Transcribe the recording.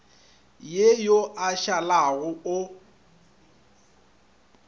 ye yo a šalago o